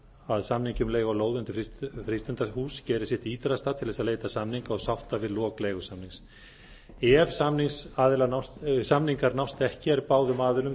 að samningi um leigu á lóð undir frístundahús geri sitt ýtrasta til þess að leita samninga og sátta við lok leigusamnings ef samningar nást ekki er báðum aðilum